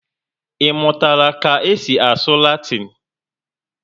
Imutala ka esi asụ Latin?